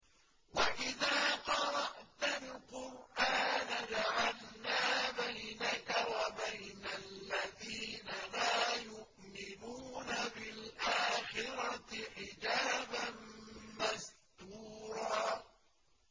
وَإِذَا قَرَأْتَ الْقُرْآنَ جَعَلْنَا بَيْنَكَ وَبَيْنَ الَّذِينَ لَا يُؤْمِنُونَ بِالْآخِرَةِ حِجَابًا مَّسْتُورًا